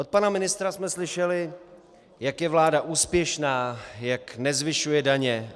Od pana ministra jsme slyšeli, jak je vláda úspěšná, jak nezvyšuje daně.